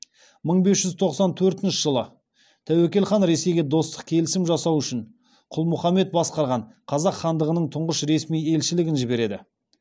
мың бес жүз тоқсан төртінші жылы тәуекел хан ресейге достық келісім жасасу үшін құлмұхаммед басқарған қазақ хандығының тұңғыш ресми елшілігін жібереді